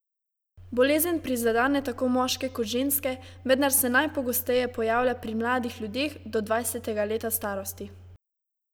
Bolezen prizadene tako moške kot ženske, vendar se najpogosteje pojavlja pri mladih ljudeh do dvajsetega leta starosti.